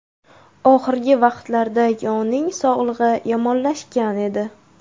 Oxirgi vaqtlarda yoning sog‘lig‘i yomonlashgan edi.